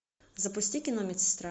запусти кино медсестра